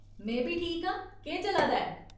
में बी ठीक आं। केह् चला दा ऐ ?